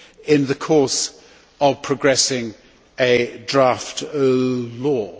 in the course of progressing a draft law.